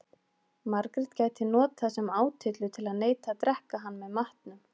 Margrét gæti notað sem átyllu til að neita að drekka hann með matnum.